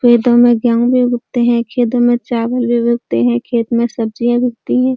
खेतों में गेंहू भी उगते हैं। खेतों में चावल भी उगते हैं। खेत में सब्जियां भी उगती हैं।